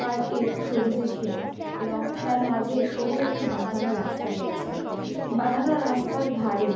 park এ সবুজে ঘেরা এবং তার মাঝে সরু একটি বাধানো রাস্তা রয়েছে বাধানো রাস্তার ধারে --